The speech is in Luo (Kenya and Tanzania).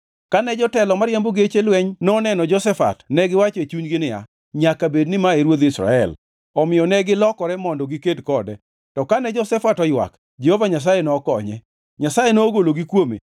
Kane jotelo mariembo geche lweny noneno Jehoshafat negiwacho e chunygi niya, “Nyaka bed ni ma e ruodh Israel.” Omiyo negilokore mondo giked kode, to kane Jehoshafat oywak, Jehova Nyasaye nokonye. Nyasaye nogologi kuome,